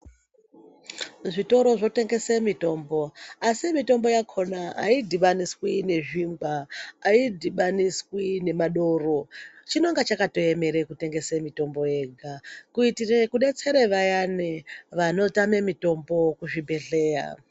Zvitoro zvotengese mitombo asi mitombo yakona ayidhibaniswi nezvingwa, ayidhibaniswi nedoro, chinenge chakatoemere kutengesa mitombo yega kuitire kudetsere vayani vanotama mitombo kuzvibhehleya.